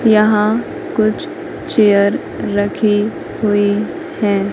यहां कुछ चेयर रखी हुई है।